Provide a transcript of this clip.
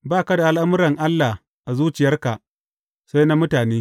Ba ka da al’amuran Allah a zuciyarka, sai na mutane.